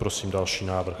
Prosím další návrh.